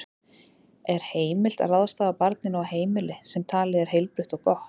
Er heimilt að ráðstafa barninu á heimili sem talið er heilbrigt og gott?